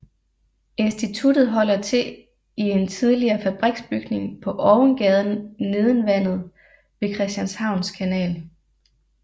Instituttet holder til i en tidligere fabriksbygning på Ovengaden Neden Vandet ved Christianshavns Kanal